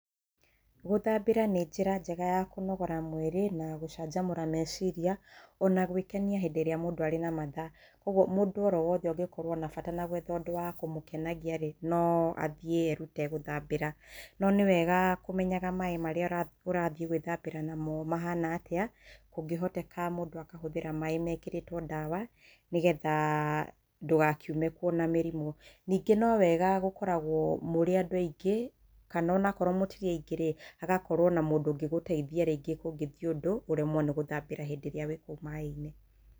Gũthambĩra nĩ njĩra njega ya kũnogora mwĩrĩ na gũcamjamũra meciria ona gwĩkenia hindĩ ĩrĩa mũndũ arĩ na matha kwoguo mũndũ oro wothe ũngĩkorwo na bata nagwetha ũndũ wa kũmũkenagia rĩ, no athiĩ erute gũthambĩra no nĩ wega kũmenyaga maĩ marĩa ũrathiĩ gwĩthambĩra namo mahana atĩa, kũngĩhoteka mũndũ akahũthĩra maĩ mekĩrĩtwo ndawa nĩgetha ndũgakiume kuo wĩna mĩrimũ, ningĩ no wega gũkoragwo mũrĩ andũ aingĩ kana onakorwo mũtirĩ aingĩ rĩ, hagakorwo na mũndũ ũngĩgũteithia rĩngĩ kũngĩthiĩ ũndũ ũremwo nĩgũthambĩra hĩndĩ ĩrĩa wĩkũu maĩinĩ.